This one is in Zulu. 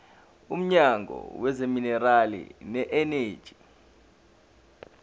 womnyango wezamaminerali neeneji